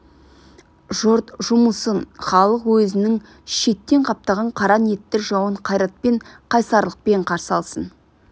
жұрт жұмылсын халық өзінің шеттен қаптаған қара ниетті жауын қайратпен қайсарлықпен қарсы алсын